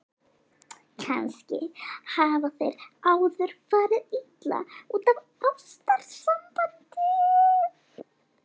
Kannski hafa þeir áður farið illa út úr ástarsambandi.